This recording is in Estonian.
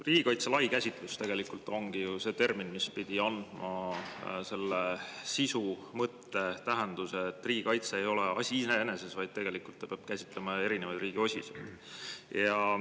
Riigikaitse lai käsitlus tegelikult ongi ju see termin, mis pidi andma selle sisu, mõtte ja tähenduse, et riigikaitse ei ole asi iseeneses, vaid ta peab käsitlema erinevaid riigi osiseid.